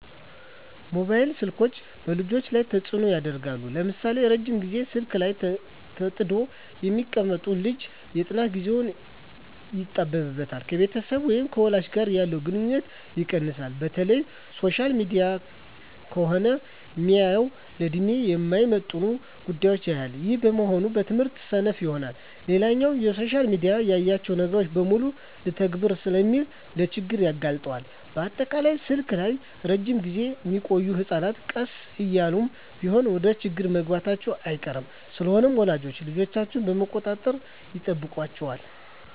መባይል ስልኮች በልጆች ላይ ተጽኖ ያሳድራል ለምሳሌ:- ረጅም ግዜ ስልክ ላይ ተጥዶ የሚቀመጥ ልጅ የጥናት ግዜው ይጣበባል፣ ከቤተሰብ ወይም ከወላጅ ጋር ያለው ግንኙነት ይቀንሳል፣ በተለይ ሶሻል ሚዲያ ከሆነ ሚያየው ለድሜው የማይመጥን ጉዳዮች ያያል ይህም በመሆኑ በትምህርቱ ሰነፍ ይሆናል። ሌላኛው በሶሻል ሚዲያ ያየውን ነገር በሙሉ ልተግብር ስለሚል ለችግር ይጋለጣል፣ በአጠቃላይ ስልክ ላይ እረጅም ግዜ ሚቆዮ ህጸናት ቀስ እያለም ቢሆን ወደችግር መግባቱ አይቀርም። ስለሆነም ወላጆች ልጆቻቸውን መቆጣጠር ይጠበቅባቸዋል